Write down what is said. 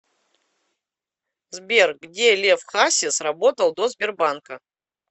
сбер где лев хасис работал до сбербанка